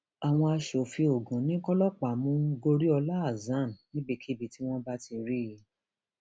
àwọn aṣòfin ogun ní kọlọpàá mú goriola hasan níbikíbi tí wọn bá ti rí i